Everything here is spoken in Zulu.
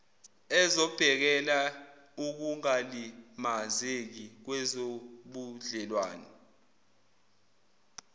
ezobhekela ukungalimazeki kwezobudlelwane